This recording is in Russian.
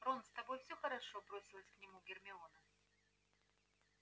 рон с тобой всё хорошо бросилась к нему гермиона